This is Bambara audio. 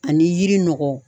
Ani yiri nɔgɔ.